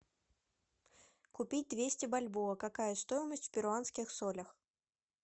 купить двести бальбоа какая стоимость в перуанских солях